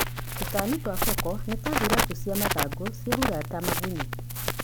Tũtami twa koko nĩta Thuraku cia mathangũ, ciehurata, magunyũ.